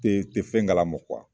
Te te fɛn kalama kuwa